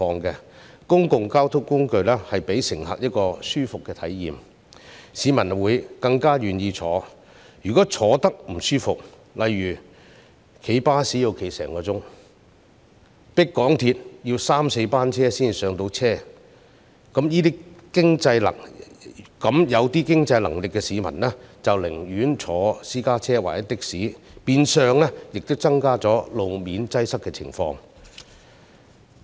公共交通工具如能令乘客有舒適的體驗，市民便會願意乘搭；如果他們覺得不舒適，例如乘搭巴士要站立1小時，又或乘搭港鐵要等候三四班列車才能上車，那麼稍有經濟能力的市民便寧願乘坐私家車或的士，變相加劇路面擠塞的情況。